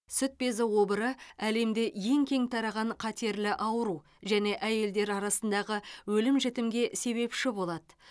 сүт безі обыры әлемде ең кең тараған қатерлі ауру және әйелдер арасындағы өлім жітімге себепші болады